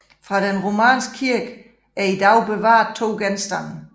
Fra den romanske kirke er i dag bevaret to genstande